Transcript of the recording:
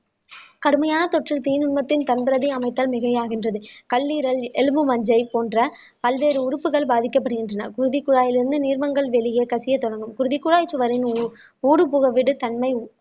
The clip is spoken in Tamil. கடுமையான தொற்றில் தீநுண்மத்தில் தங்குறதை அமைத்தால் மிகையாகின்றது கல்ஈரல் எலும்பு மஞ்சை போன்ற பல்வேறு உறுப்புகள் பாதிக்கப்படுகின்றன குருதிக் குழாயில் இருந்து நீர்மங்கள் வெளியே கசியத் தொடங்கும் குருதி குழாய்ச் சுவரின் ஊடுபுகுடு தன்மை